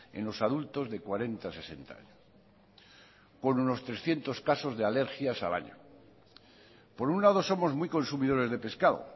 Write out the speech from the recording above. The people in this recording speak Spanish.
en los adultos de cuarenta a sesenta años con unos trescientos casos de alergias al año por un lado somos muy consumidores de pescado